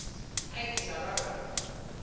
hai ke tla ba ka